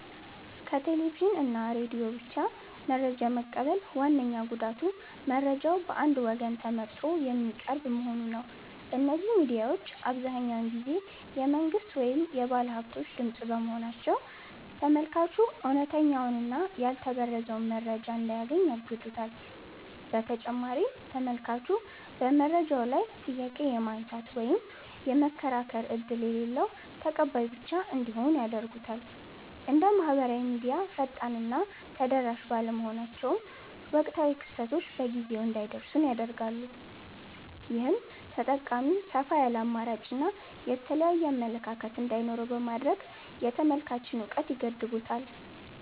ከቴሌቪዥን እና ሬዲዮ ብቻ መረጃ መቀበል ዋነኛው ጉዳቱ መረጃው በአንድ ወገን ተመርጦ የሚቀርብ መሆኑ ነው። እነዚህ ሚዲያዎች አብዛኛውን ጊዜ የመንግሥት ወይም የባለሃብቶች ድምፅ በመሆናቸው፤ ተመልካቹ እውነተኛውንና ያልተበረዘውን መረጃ እንዳያገኝ ያግዱታል። በተጨማሪም ተመልካቹ በመረጃው ላይ ጥያቄ የማንሳት ወይም የመከራከር ዕድል የሌለው ተቀባይ ብቻ እንዲሆን ያደርጉታል። እንደ ማኅበራዊ ሚዲያ ፈጣንና ተደራሽ ባለመሆናቸውም፣ ወቅታዊ ክስተቶች በጊዜው እንዳይደርሱን ያደርጋሉ። ይህም ተጠቃሚው ሰፋ ያለ አማራጭና የተለያየ አመለካከት እንዳይኖረው በማድረግ የተመልካችን እውቀት ይገድቡታል።